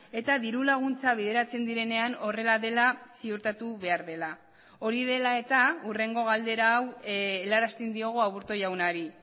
eta diru laguntza bideratzen direnean horrela dela ziurtatu behar dela hori dela eta hurrengo galdera hau helarazten diogu aburto jaunari